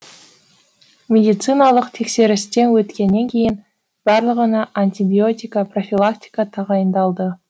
медициналық тексерістен өткеннен кейін барлығына антибиотика профилактика тағайындалды